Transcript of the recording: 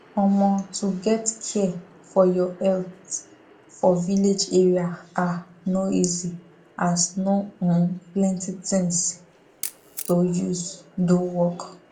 omo to get care for your health for village area ah no easy as no um plenti things to use do work